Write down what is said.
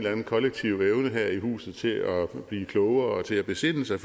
anden kollektiv evne her i huset til at blive klogere og til at besinde sig